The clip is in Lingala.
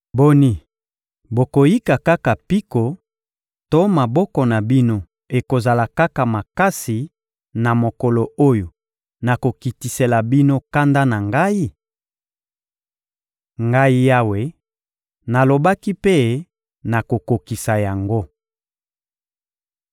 Boni, bokoyika kaka mpiko to maboko na bino ekozala kaka makasi na mokolo oyo nakokitisela bino kanda na Ngai? Ngai Yawe, nalobaki mpe nakokokisa yango.